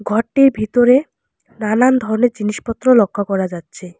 ঘরটির ভিতরে নানান ধরনের জিনিসপত্র লক্ষ করা যাচ্ছে।